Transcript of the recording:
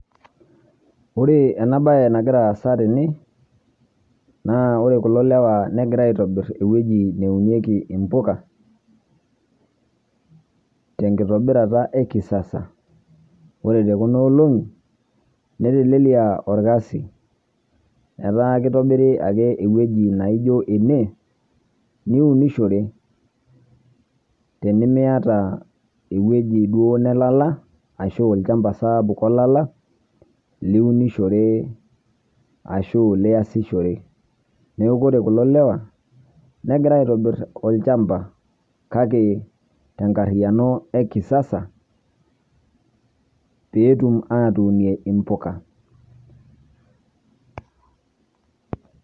Ore ena baee nagira aaza tene, naa ore kulo lewaa negira aitobirr ewueji naunieki impuka, tenkitobirata ekisasa ore te kuna olong'i neteleliaa irkasi etaa kitobiri ake ewueji naijo ene niunishore, tenimiata ewueji duoo nalala ashu alshamba sapuk olala liunishore ashu liasishore, neeku kore kulo lewa, negira aitobirr olshamba kake te nkarriano ee kisasa peetum atuunie impuka.